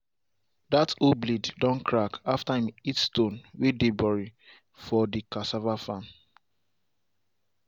dat hoe blade don crack after em hit stone way dem bury for de cassava farm.